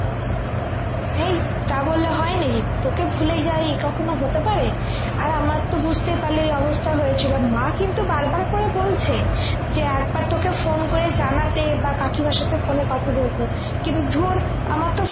হেই তা বললে হয় নাকি তোকে ভুলে যাই কখনো হতে পারে আর আমার তো বুঝতে পারলি এই অবস্থা হয়েছিল মা কিন্তু বার বার করে বলছে যে একবার তোকে phone করে জানাতে বা কাকিমার সাথে phone এ কথা বলতে কিন্তু ধূর আমার তো